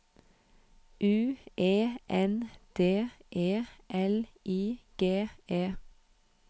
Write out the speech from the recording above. U E N D E L I G E